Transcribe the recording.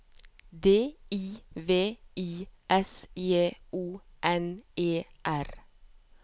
D I V I S J O N E R